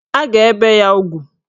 A ga-ebe ya ugwu